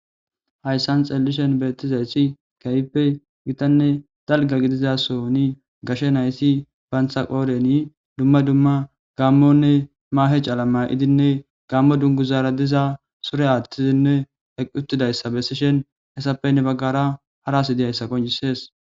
Haysan xelishin betizas kehipe gitanne dalga gidiza sohon gashe nayti bantam qodheni dumma dumma gamonne mahe CALA mayidinne gamo duguzara diza sure athidinne eqi utidaysa besishen etape hen bagara hara ASI dizaysa qoncises